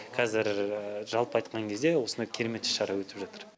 қәзір жалпы айтқан кезде осындай керемет іс шара өтіп жатыр